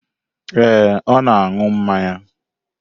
Ee, ọ na-aṅụ mmanya.